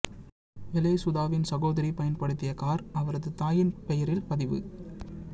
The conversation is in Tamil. வெலே சுதாவின் சகோதரி பயன்படுத்திய கார் அவரது தாயின் பெயரில் பதிவு